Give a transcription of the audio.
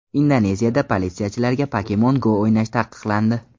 Indoneziyada politsiyachilarga Pokemon Go o‘ynash taqiqlandi.